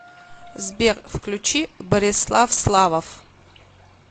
сбер включи борислав славов